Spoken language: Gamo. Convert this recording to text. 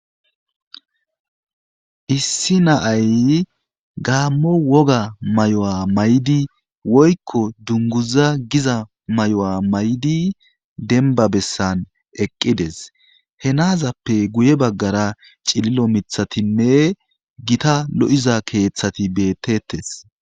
issi naay gaammo woga mayo'a maydi woykko dunguza giza may' maydi denba bessan eqqides henazappe guye baggara cililo mithatinne gita lo7iza keeththati beettettes